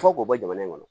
Fɔ k'o bɔ jamana in kɔnɔ